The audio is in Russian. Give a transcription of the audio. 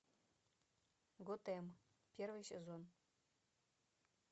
готэм первый сезон